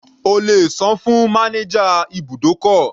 O lè sàn-án fún manager ibùdókọ̀.